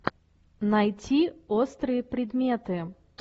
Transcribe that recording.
найти острые предметы